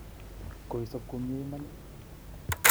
koisop komnyee imaan?